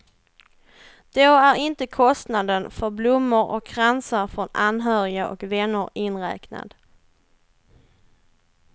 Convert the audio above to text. Då är inte kostnaden för blommor och kransar från anhöriga och vänner inräknad.